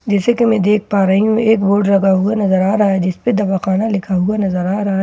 जैसे कि मैं देख पा रही हूं एक बोर्ड लगा हुआ नजर आ रहा है जिस पर दवाखाना लिखा हुआ नजर आ रहा है।